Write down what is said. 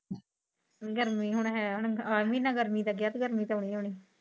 ਗਰਮੀ ਹੁਣ ਹੈ ਹੁਣ ਆਵੀ ਨਾ ਗਰਮੀ ਗਰਮੀ ਤਾ ਆਉਣੀ ਆਉਣੀ ਆ।